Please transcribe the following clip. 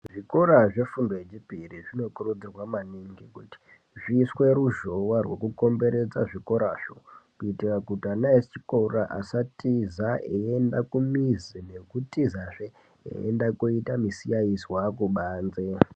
Zvikora zve fundo ye chipiri zvino kurudzirwa maningi kuti zviiswe ruzhowa rwuno komberedza zvikorazvo kuitira ana echikora asa tiza eyi enda kumizi kutiza zvee eyi enda koita misikainzwa kubanze.